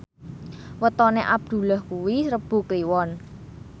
wetone Abdullah kuwi Rebo Kliwon